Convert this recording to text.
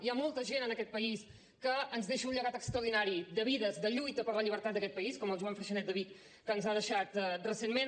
hi ha molta gent en aquest país que ens deixa un llegat extraordinari de vides de lluita per la llibertat d’aquest país com el joan freixanet de vic que ens ha deixat recentment